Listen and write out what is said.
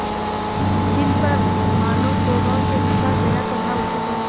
जिन पर मानवस्वभाव के अनुसार दया करना उचित है